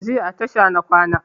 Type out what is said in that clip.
Jiya a tasha na kwana